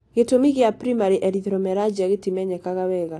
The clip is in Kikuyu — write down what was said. Gĩtũmi kĩa primary erythromelalgia gĩtimenyekaga wega.